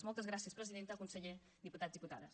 moltes gràcies presidenta conseller diputats i diputades